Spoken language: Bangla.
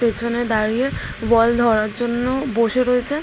পেছনে দাঁড়িয়ে বল ধরার জন্য বসে রয়েছে।